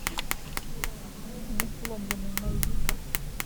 несломленный найди ка